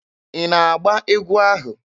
Ị na-agba egwu ahụ?